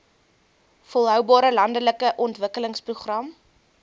volhoubare landelike ontwikkelingsprogram